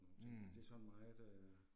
Mh